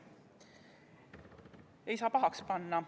Seda ei saa pahaks panna.